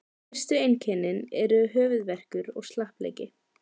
Fyrstu einkennin eru höfuðverkur og slappleiki.